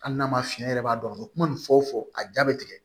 Hali n'a ma fiyɛ yɛrɛ b'a dɔn a bɛ kuma nin fɔ fɔ a jaa bɛ tigɛ